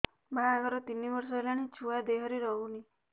ବାହାଘର ତିନି ବର୍ଷ ହେଲାଣି ଛୁଆ ଦେହରେ ରହୁନି